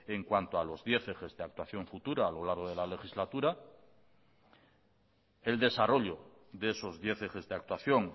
en cuanto a los diez ejes de actuación futura a lo largo de la legislatura el desarrollo de esos diez ejes de actuación